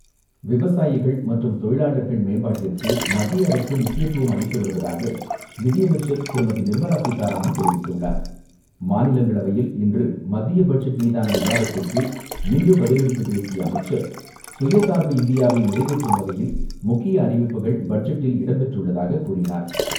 விவசாயிகள் மற்றும் தொழிலாளர்கள் மேம்பாட்டிற்கு மத்திய அரசு முக்கியத்துவம் அளித்து வருவதாக நிதியமைச்சர் திருமதி நிர்மலா சீதாராமன் தெரிவித்துள்ளார். மாநிலங்களவையில் இன்று மத்திய பட்ஜெட் மீதான விவாதத்திற்கு இன்று பதிலளித்துப் பேசிய அமைச்சர் சுயசார்பு இந்தியாவை நிறைவேற்றும் வகையில் முக்கிய அறிவிப்புகள் பட்ஜெட்டில் இடம்பெற்றுள்ளதாக கூறினார்.